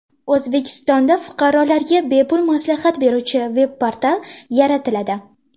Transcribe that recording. O‘zbekistonda fuqarolarga bepul maslahat beruvchi veb-portal yaratiladi.